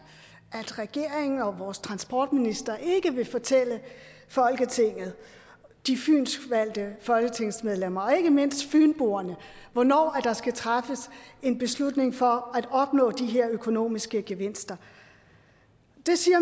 at regeringen og vores transportminister ikke vil fortælle folketinget de fynskvalgte folketingsmedlemmer og ikke mindst fynboerne hvornår der skal træffes en beslutning for at opnå de her økonomiske gevinster